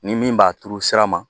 Ni min b'a turu sira ma